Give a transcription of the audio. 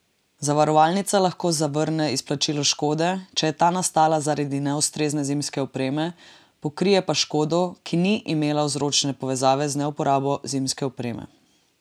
Zavarovalnica lahko zavrne izplačilo škode, če je ta nastala zaradi neustrezne zimske opreme, pokrije pa škodo, ki ni imela vzročne povezave z neuporabo zimske opreme.